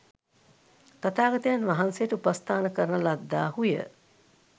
තථාගතයන් වහන්සේට උපස්ථාන කරන ලද්දාහු ය.